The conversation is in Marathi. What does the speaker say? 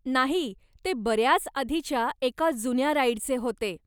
नाही, ते बऱ्याच आधीच्या एका जुन्या राईडचे होते.